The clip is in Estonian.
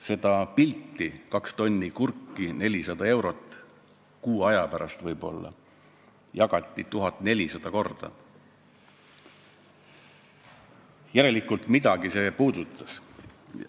Seda pilti, kus oli kaks tonni kurki, mille eest saab kuu aja pärast võib-olla 400 eurot, jagati 1400 korda – järelikult midagi see puudutas.